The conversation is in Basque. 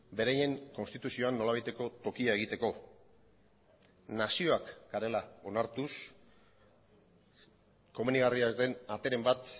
beraien konstituzioan nolabaiteko tokia egiteko nazioak garela onartuz komenigarria ez den ateren bat